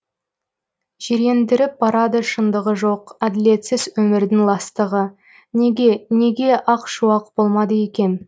жирендіріп барады шындығы жоқ әділетсіз өмірдің ластығы неге неге ақ шуақ болмады екем